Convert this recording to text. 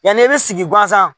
Yanni i bɛ sigi gansan